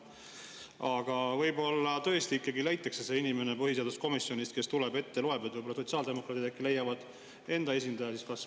Aga võib-olla tõesti ikkagi leitakse see inimene põhiseaduskomisjonist, kes tuleb ja ette loeb.